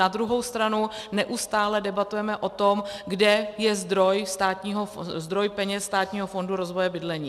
Na druhou stranu neustále debatujeme o tom, kde je zdroj peněz Státního fondu rozvoje bydlení.